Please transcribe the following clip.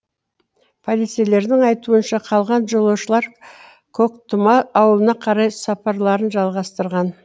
полицейлердің айтуынша қалған жолаушылар көктұма ауылына қарай сапарларын жалғастырған